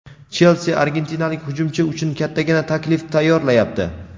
"Chelsi" argentinalik hujumchi uchun kattagina taklif tayyorlayapti.